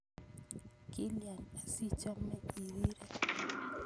Kilia asiichome irire?